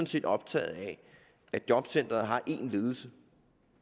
set optaget af at jobcentre har én ledelse